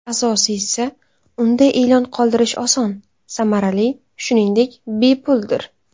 Asosiysi, unda e’lon qoldirish oson, samarali, shuningdek, bepuldir.